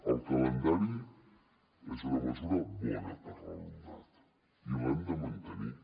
el calendari és una mesura bona per a l’alumnat i l’hem de mantenir